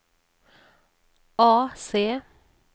AC